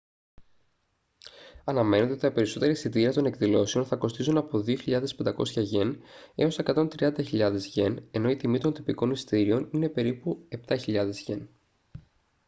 αναμένεται ότι τα περισσότερα εισιτήρια των εκδηλώσεων θα κοστίζουν από 2.500 γιεν έως 130.000 γιεν ενώ η τιμή των τυπικών εισιτηρίων είναι περίπου 7.000 γιεν